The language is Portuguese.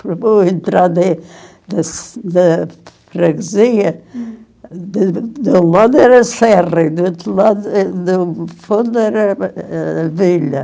Para eu entrar de des na, hm, de um lado era a serra e do outro lado, eh, do fundo era a era a vila.